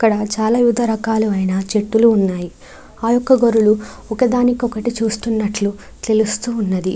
ఇక్కడ చాలా వివిధ రకాలైన చెట్లు ఉన్నాయి ఆ యొక్క గొర్రెలు ఒకదానికొకటి చూస్తున్నట్లు తెలుస్తుంది.